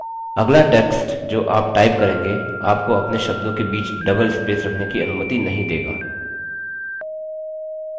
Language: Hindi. अगला text जो आप type करेंगे आपको अपने आप शब्दों के बीच double spaces रखने की अनुमति नहीं देगा